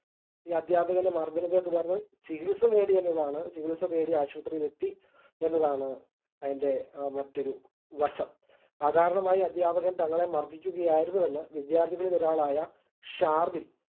ഈ അധ്യാപകൻറെ മർദ്ദനത്തെ തുടർന്ന് ചികിത്സ തേടി എന്നതാണ് ചികിത്സ തേടി ആശുപത്രയിൽ എത്തി എന്നതാണ് അതിൻറെ മറ്റൊരു വശം അകാരണമായി അധ്യാപകൻ തങ്ങളെ മർദിക്കുകയായിരുന്നു എന്ന് വിദ്യാർത്ഥികളിൽ ഒരാളായ ഷാർവിൻ